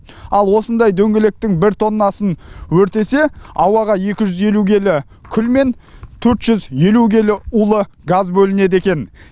ал осындай дөңгелектің бір тоннасын өртесе ауаға екі жүз елу келі күл мен төрт жүз елу келі улы газ бөлінеді екен